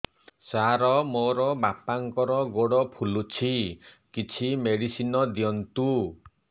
ସାର ମୋର ବାପାଙ୍କର ଗୋଡ ଫୁଲୁଛି କିଛି ମେଡିସିନ ଦିଅନ୍ତୁ